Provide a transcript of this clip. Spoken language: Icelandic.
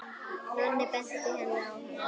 Nonni benti henni á hana.